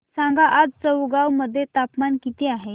सांगा आज चौगाव मध्ये तापमान किता आहे